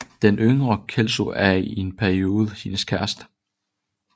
Den yngre Kelso er i en periode hendes kæreste